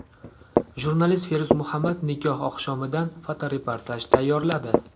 Jurnalist Feruz Muhammad nikoh oqshomidan fotoreportaj tayyorladi.